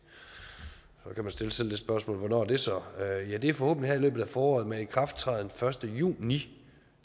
så kan man stille sig selv det spørgsmål hvornår det så er ja det er forhåbentlig her i løbet af foråret med ikrafttræden første juni